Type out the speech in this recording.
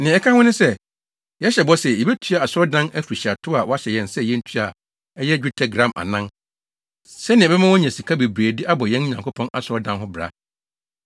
“Nea ɛka ho ne sɛ, yɛhyɛ bɔ sɛ, yebetua Asɔredan afirihyiatow a wɔahyɛ yɛn sɛ yentua a ɛyɛ dwetɛ gram anan, sɛnea ɛbɛma wɔanya sika bebree de abɔ yɛn Nyankopɔn Asɔredan no ho bra.